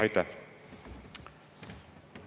Aitäh!